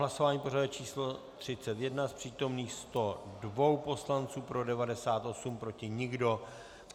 Hlasování pořadové číslo 31, z přítomných 102 poslanců pro 98, proti nikdo.